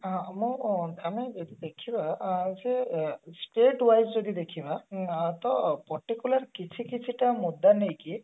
ମୁଁ ଆମେ ଏଠି ଦେଖିବା ଅ ଯୋଉ ଉଁ state wise ଯଦି ଦେଖିବା ତ particular କିଛି କିଛି ଟା ମୁଦ୍ଦା ନେଇକି